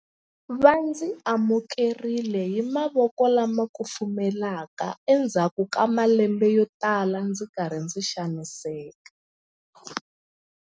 Va ndzi amukerile hi mavoko lama kufumelaka endzhaku ka malembe yotala ndzi ri karhi ndzi xaniseka.